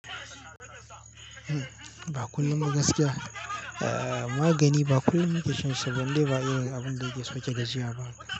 Ba kullum ba gaskiya. Eh, magani ba kullum nake shan shi ba, in dai ba irin abun da yake so ya ga jiya ba.